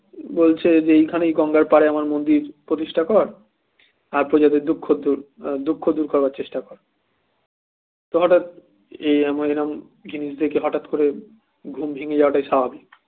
বলছে যে এইখানেই গঙ্গার পাড়ে আমার মন্দির প্রতিষ্ঠা কর আর প্রজাদের দুঃখ দূর দুঃখ দূর করার চেষ্টা কর হঠাৎ এরকম জিনিস দেখে হঠাৎ করে ঘুম ভেঙে যাওয়াটাই স্বাভাবিক